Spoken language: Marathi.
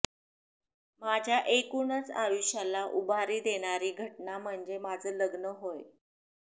माझ्या एकूणच आयुष्याला उभारी देणारी घटना म्हणजे माझं लग्न होय